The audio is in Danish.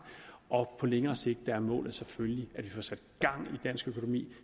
og på længere sigt er målet selvfølgelig at vi får sat gang i dansk økonomi